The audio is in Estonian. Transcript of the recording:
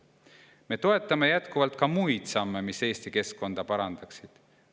Me toetame jätkuvalt ka muid samme, mis Eesti keskkonda parandaksid.